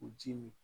U ji min